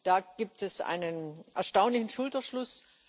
Da gibt es einen erstaunlichen Schulterschluss.